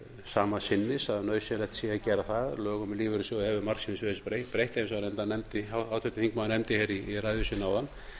sama sinnis að nauðsynlegt sé að gera það lögum um lífeyrissjóði hefur margsinnis verið breytt eins og reyndar háttvirtur þingmaður nefndi í ræðu sinni áðan